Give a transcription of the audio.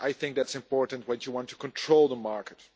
This is important when you want to control the market.